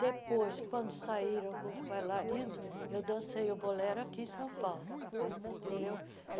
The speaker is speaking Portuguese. Depois, quando saíram com os bailarinos, eu dancei o bolero aqui em São Paulo ah, entendeu?